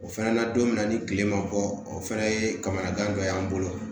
O fɛnɛ na don min na ni kile ma bɔ o fɛnɛ ye kamana gan dɔ y'an bolo